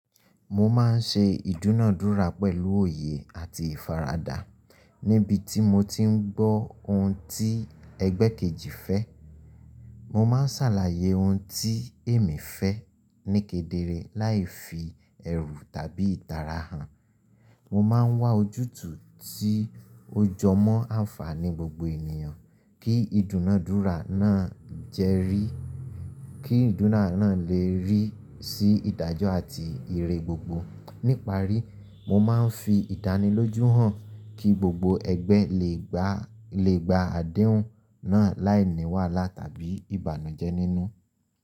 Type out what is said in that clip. Mo ma n ṣe ìdúnàádúrà pẹ̀lú òye àti ìfaradà níbi tí mo ti n gbọ́ ohun tí ẹgbẹ́ kejì fẹ́. Mo ma n sàlàyé ohun tí èmi fẹ́ níkedere láì fi ẹ̀rù tàbí ìtara hàn. Mo ma n wá ojútùú tí ó jọ mọ́ àǹfààní gbogbo ènìyàn kí ìdúnàádúrà náà lè rí sí ìdájọ́ àti ìre gbogbo. Níparí, mo ma n fi ìdánilójú hàn kí gbogbo ẹgbẹ́ lè gba àdéhùn náà láì ní wàhálà tàbí ìbànújẹ́ nínú.